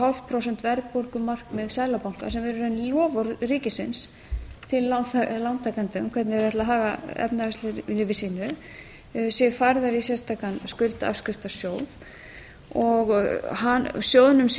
hálft prósent verðbólgumarkmið seðlabankans sem er í raun loforð ríkisins til lántakenda um hvernig þeir ætla að haga efnahagslegu lífi sínu séu færðar í sérstakan skuldaafskriftasjóður og sjóðnum